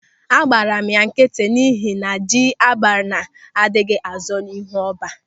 Agbara m ya nkịtị n'ihi na ji abana adịghị azọ ịhu ọ́bá.